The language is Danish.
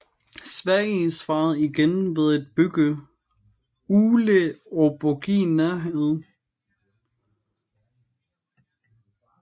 Sverige svarede igen ved at bygge Uleåborgi nærheden